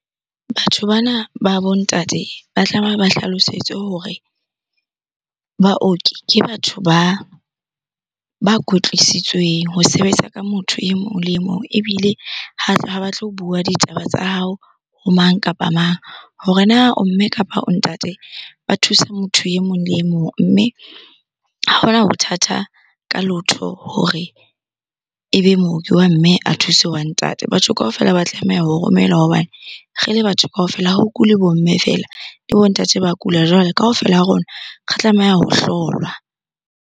Batho bana ba bo ntate ba tlameha ba hlalosetswe hore baoki ke batho ba kwetlisitsweng ho sebetsa ka motho e mong le e mong ebile ha ba tlo bua ditaba tsa hao ho mang kapa mang. Hore na o mme kapa ntate, ba thusa motho e mong le mong mme ha hona ho thata ka lotho hore ebe mooki wa mme a thuse wa ntate. Batho kaofela ba tlameha ho romelwa hobane re le batho kaofela ho kule bo mme feela, le bo ntate ba kula. Jwale kaofela ha rona re tlameha ho hlolwa.